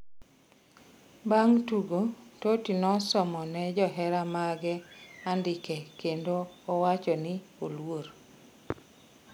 bang' tugo, Totti nosomone johera mage andike kendo owacho ni oluor